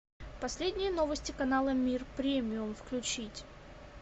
последние новости канала мир премиум включить